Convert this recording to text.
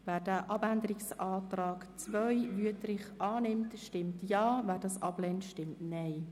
Wer den Abänderungsantrag annimmt, stimmt Ja, wer ihn ablehnt, stimmt Nein.